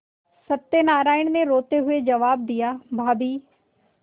सत्यनाराण ने रोते हुए जवाब दियाभाभी